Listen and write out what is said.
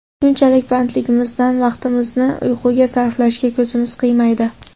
Shunchalik bandligimizdan vaqtimizni uyquga sarflashga ko‘zimiz qiymaydi.